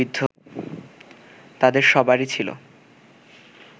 তাদের সবারই ছিল